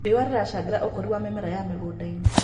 Rĩũa rĩracangĩra ũkũrĩ wa mĩmera ya mĩgũnda-ĩnĩ